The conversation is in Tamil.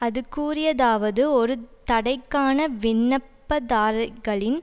அது கூறியதாவது ஒரு தடைக்கான விண்ணப்பதார்ரிகளின்